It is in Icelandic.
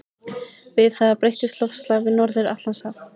Við það breytist loftslag við Norður-Atlantshaf.